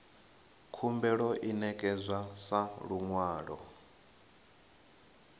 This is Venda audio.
khumbelo i ṋekedzwa sa luṅwalo